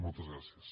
moltes gràcies